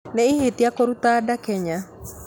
Ni ihĩtia kũruta nda kenya